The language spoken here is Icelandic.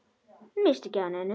Missti ekki af neinu.